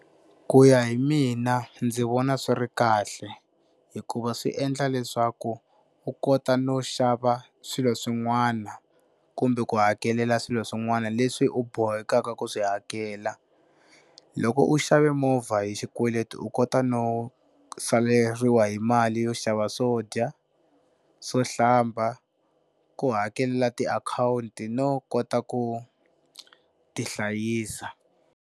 Ku ya hi mina ndzi vona swi ri kahle hikuva swi endla leswaku u kota no xava swilo swin'wana kumbe ku hakelela swilo swin'wana leswi u bohekakavku swi hakela. Loko u xava movha hi xikweleti u kota no saleriwa hi mali yo xava swo dya, swo hlamba, ku hakelela tiakhawunti no kota ku tihlayisa.